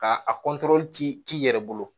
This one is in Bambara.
Ka a k'i yɛrɛ bolo